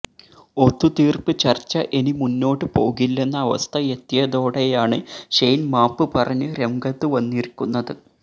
ഒത്തുതീര്പ്പ് ചര്ച്ച ഇനി മുന്നോട്ട് പോകില്ലെന്ന അവസ്ഥ എത്തിയതോടെയാണ് ഷെയ്ന് മാപ്പ് പറഞ്ഞ് രംഗത്തുവന്നിരിക്കുന്നത്